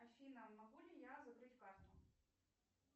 афина могу ли я закрыть карту